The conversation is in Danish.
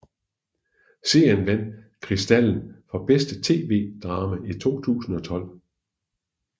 Serien vandt Kristiallen for bedste TV drama 2012